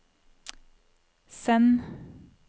send